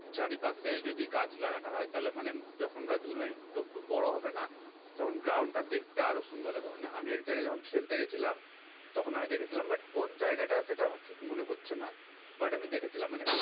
চারিপাশে যদি গাছ লাগানো হয় তাহলে মানে যখন গাছগুলো একটু একটু বড় হবে না তখন ground টা দেখতে আরো সুন্দর লাগবে। মানে আমি একজায়গায় যখন খেলতে গেছিলাম, তখন আমি দেখেছিলাম but কোন জায়গাটা সেটা আমার ঠিক মনে পড়ছে না। but আমি দেখেছিলাম মানে